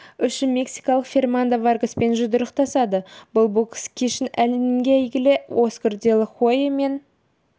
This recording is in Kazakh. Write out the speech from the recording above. үшін мексикалық фернандо варгаспен жұдырықтасады бұл бокс кешін әлемге әйгілі оскар де ла хойя мен